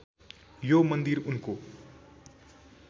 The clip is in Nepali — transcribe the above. यो मन्दिर उनको